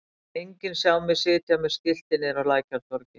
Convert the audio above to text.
Það mun enginn sjá mig sitja með skilti niðri á Lækjartorgi.